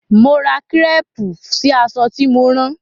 Mo ra kírépù sí aṣọ tí mo rán.